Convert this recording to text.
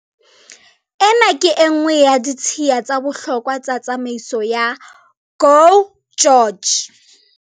"Ena ke e nngwe ya ditshiya tsa bohlokwa tsa tsamaiso ya GO GEORGE."